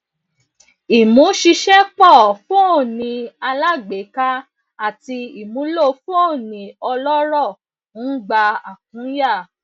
ìmúṣiṣẹpọ fóní alágbèéká àti ìmúlò fóní ọlọrọ ń gba àkúnya